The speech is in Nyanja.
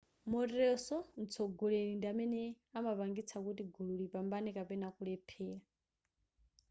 moteronso mtsogoleri ndi amene amapangitsa kuti gulu lipambane kapena kulephera